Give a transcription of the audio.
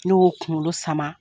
Ne y'o kunkolo sama.